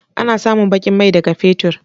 A na samun baƙin mai ne daga fetur.